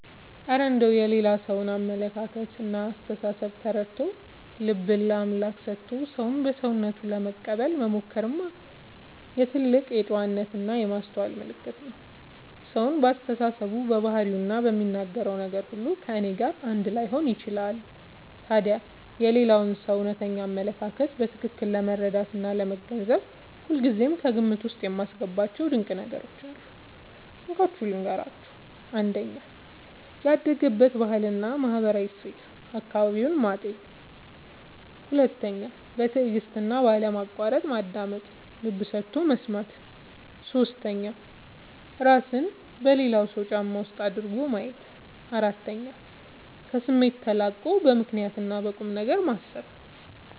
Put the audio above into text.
እረ እንደው የሌላ ሰውን አመለካከትና አስተሳሰብ ተረድቶ፣ ልብን ለአምላክ ሰጥቶ ሰውን በሰውነቱ ለመቀበል መሞከርማ የትልቅ ጨዋነትና የማስተዋል ምልክት ነው! ሰው በአስተሳሰቡ፣ በባህሪውና በሚናገረው ነገር ሁሉ ከእኔ ጋር አንድ ላይሆን ይችላል። ታዲያ የሌላውን ሰው እውነተኛ አመለካከት በትክክል ለመረዳትና ለመገንዘብ ሁልጊዜ ከግምት ውስጥ የማስገባቸው ድንቅ ነገሮች አሉ፤ እንካችሁ ልንገራችሁ - 1. ያደገበትን ባህልና ማህበራዊ እሴት (አካባቢውን) ማጤን 2. በትዕግስትና ባለማቋረጥ ማዳመጥ (ልብ ሰጥቶ መስማት) 3. እራስን በሌላው ሰው ጫማ ውስጥ አድርጎ ማየት 4. ከስሜት ተላቆ በምክንያትና በቁምነገር ማሰብ